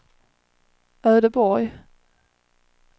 Ödeborg